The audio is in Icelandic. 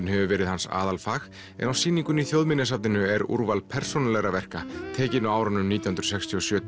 hefur verið hans aðalfag en á sýningunni í Þjóðminjasafninu er úrval persónulegra verka tekin á árunum nítján hundruð sextíu og sjö